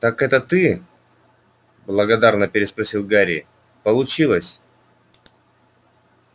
так это ты благодарно переспросил гарри получилось